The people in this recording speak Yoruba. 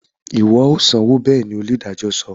Iwọ o sanwó beeli! onidajọ sọ